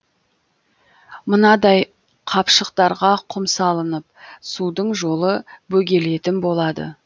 мынадай қапшықтарға құм салынып судың жолы бөгелетін болады